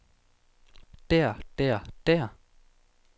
der der der